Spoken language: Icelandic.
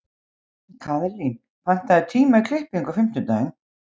Kaðlín, pantaðu tíma í klippingu á fimmtudaginn.